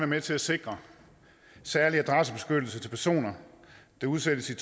med til at sikre særlig adressebeskyttelse til personer der udsættes